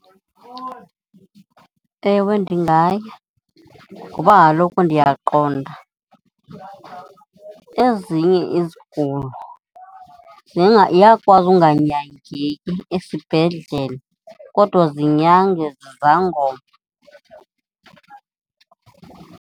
Ewe, ndingaya ngoba kaloku ndiyaqonda ezinye izigulo ziyakwazi unganyangeki esibhedlele kodwa zinyangwe zizangoma.